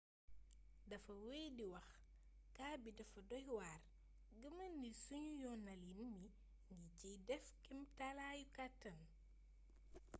dafa wey di wax kaa bii dafa doy waar.gëmal ni sunu yoonalin mi ngi ciy def kemtalaayu kàttan.